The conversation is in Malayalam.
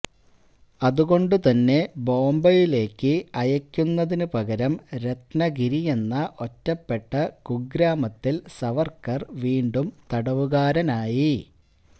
അതുകൊണ്ടുതന്നെ ബോംബെയിലേക്ക് അയയ്ക്കുന്നതിനുപകരം രത്നഗിരിയെന്ന ഒറ്റപ്പെട്ട കുഗ്രാമത്തില് സവര്ക്കര് വീണ്ടും തടവുകാരനായി